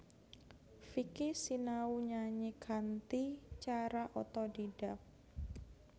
Vicky sinau nyanyi kanthi cara otodidak